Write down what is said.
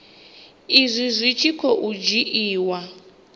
izwi zwi tshi khou dzhiiwa